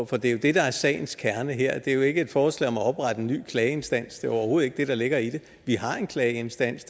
for det er jo det der er sagens kerne her det er jo ikke et forslag om at oprette en ny klageinstans det er overhovedet ikke det der ligger i det vi har en klageinstans